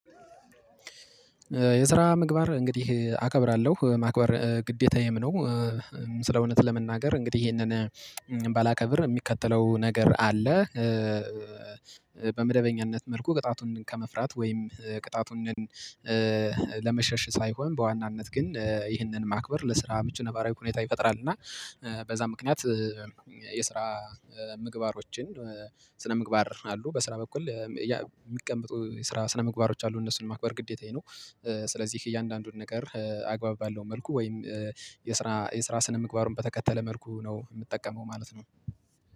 የስራ ምግባር እንግዲህ አከብራለሁ ማክበር ግዴታዬም ነው ስለእውነት ለመናገር እንግዲህ ይሄንን ባላከብር የሚከተለው ነገር አለ። በመደበኛነት መልኩ ቅጣቱን ከመፍራት ወይም ቅጣቱን ለመሸሽ ሳይሆን በዋናነት ግን ይህንን ማክበር ለስራ ምቹ ነባራዊ ሁኔታ ይፈጥራል እና በዛ ምክንያት የስራ ምግባሮችን ስነ ምግባር አሉ በስራ በኩል የሚቀመጡ የስራ ስነ ምግባሮች አሉ እነሱን ማክበር ግዴታዬ ነው። ስለዚህ እያንዳንዱን ነገር አግባብ ባለው መልኩ ወይም የስራ የስራ የስራ ስነምግባሩን በተከተለ መልኩ ነው የምጠቀመው ማለት ነው።